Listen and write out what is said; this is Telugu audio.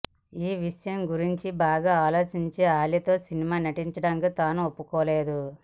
ఈ విషయం గురించి బాగా ఆలోచించి అలితో సినిమాలో నటించడానికి తను ఒప్పుకోలేదు